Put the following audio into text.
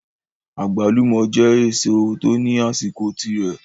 Agbalumo je eseo to ni asiko tire